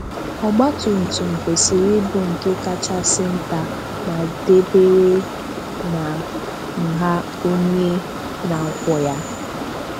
Ọgbatumtum kwesịrị ịbụ nke kachasị nta ma dabere na nha onye na-akwọ ya.